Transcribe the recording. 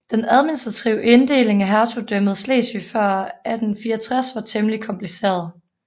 Den administrative inddeling af Hertugdømmet Slesvig før 1864 var temmelig kompliceret